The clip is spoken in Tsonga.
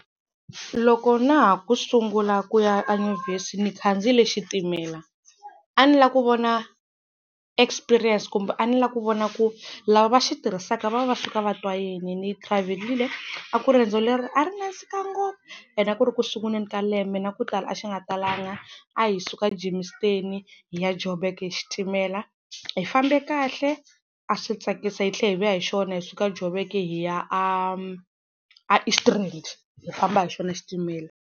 Loko na ha ku sungula ku ya enyuvhesi ni khandziyile xitimela. A ni la ku vona experience kumbe a ni la ku vona ku lava va xitirhisaka va va va suka vatwa yini ni travel-ile a ku ri riendzo leri a ri nandzika ngopfu ene a ku ri ku sunguleni ka lembe na ku tala a xi nga talanga a hi suka Germiston hi ya Joburg hi xitimela hi fambe kahle a swi tsakisa hi tlhela hi vuya hi xona hi suka Joburg hi ya a a East Rand hi famba hi xona xitimela.